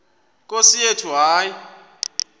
nkosi yethu hayi